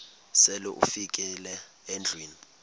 sele ufikile endlwini